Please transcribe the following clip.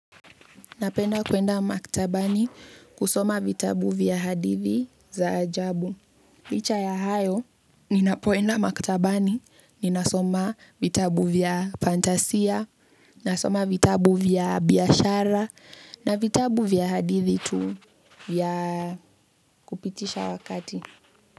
Napenda kuenda maktabani kusoma vitabu vya hadithi za ajabu. Licha ya hayo, ninapoenda maktabani, ninasoma vitabu vya fantasia, nasoma vitabu vya biashara, na vitabu vya hadithi tu vya kupitisha wakati.